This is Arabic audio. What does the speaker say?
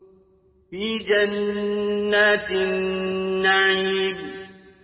فِي جَنَّاتِ النَّعِيمِ